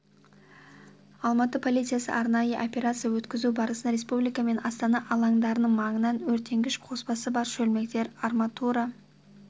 алматы полициясы арнайы операция өткізу барысында республика мен астана алаңдарының маңынан өртенгіш қоспасы бар шөлмектер арматура